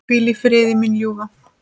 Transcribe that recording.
Hvíl í friði, mín ljúfa.